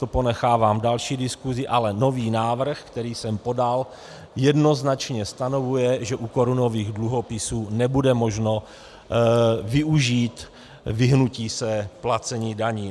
To ponechávám další diskusi, ale nový návrh, který jsem podal, jednoznačně stanovuje, že u korunových dluhopisů nebude možno využít vyhnutí se placení daní.